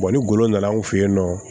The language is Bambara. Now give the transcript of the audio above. ni golo nana anw fɛ yen nɔ